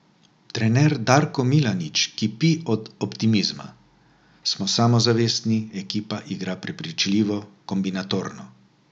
Trener Darko Milanič kipi od optimizma: "Smo samozavestni, ekipa igra prepričljivo, kombinatorno.